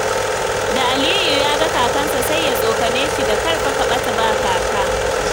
Da Aliyu yaga kakansa sai ya tsokane shi da 'kar fa ka ɓata ba Kaka'.